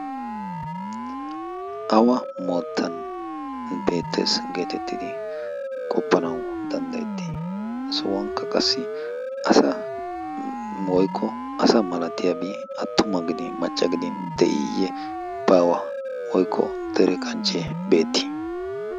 Awa moottan beettes getettidi qoppanawu danddayetii? Ha sohuwankka qassi asa woykko asa malatiyaabi attuma gidin macca gidin de'iyye baawa woykko dere kanchche beetti?